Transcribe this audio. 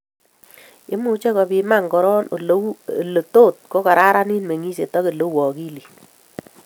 Imuche kopiman koran ele tot kokaranit mengset ak ele u akilit